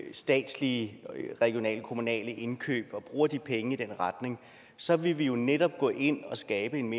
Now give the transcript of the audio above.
statslige regionale og kommunale indkøb og bruger de penge i den retning så ville vi jo netop gå ind og skabe en